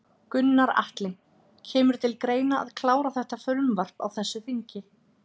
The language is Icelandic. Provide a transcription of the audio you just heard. Gunnar Atli: Kemur til greina að klára þetta frumvarp á þessu þingi?